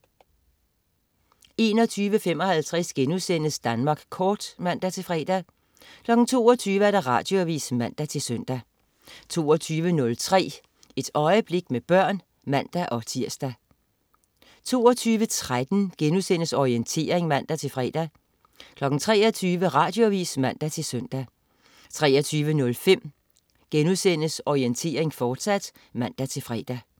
21.55 Danmark Kort* (man-fre) 22.00 Radioavis (man-søn) 22.03 Et øjeblik med børn (man-tirs) 22.13 Orientering* (man-fre) 23.00 Radioavis (man-søn) 23.05 Orientering, fortsat* (man-fre)